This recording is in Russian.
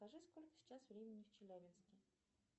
скажи сколько сейчас времени в челябинске